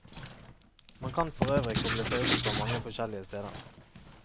Man kan for øvrig koble seg opp fra mange forskjellige steder.